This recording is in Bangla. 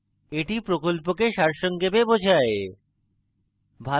এটি প্রকল্পকে সারসংক্ষেপে বোঝায়